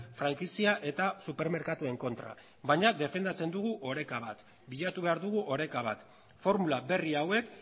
frankizia eta supermerkatuen kontra baina defendatzen dugu oreka bat bilatu behar dugu oreka bat formula berri hauek